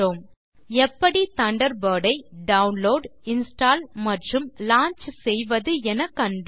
மேலும் எப்படி தண்டர்பர்ட் ஐ டவுன்லோட் இன்ஸ்டால் மற்றும் லாஞ்ச் செய்வது என கண்டோம்